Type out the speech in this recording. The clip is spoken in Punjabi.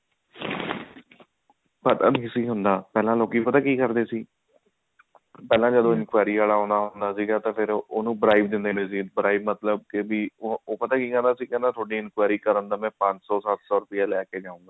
ਪਤਾ ਨ੍ਣੀ ਸੀ ਹੁੰਦਾ ਪਹਿਲਾਂ ਲੋਕਿਨ ਪਤਾ ਕੀ ਕਰਦੇ ਸੀ ਪਹਿਲਾਂ ਜਦੋਂ enquiry ਆਲਾ ਆਉਂਦਾ ਹੁੰਦਾ ਸੀ ਤੇ ਉਹਨੂੰ prize ਮਤਲਬ ਕੇ ਉਹ ਪਤਾ ਕੀ ਕਹਿੰਦਾ ਸੀਗਾ ਮੈਂ ਥੋਡੀ enquiry ਕਰਨ ਦਾ ਮੈਂ ਪੰਜ ਸੋ ਸੱਤ ਸੋ ਰੁਪਿਆ ਲੇਕੇ ਜਾਊਂਗਾ